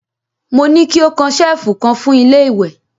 Mo ní ki ó kan ṣẹ̀lfù kan fún ilé ìwẹ̀!